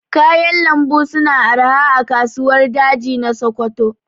Kayan lambu su na arha a kasuwar daji na Sokoto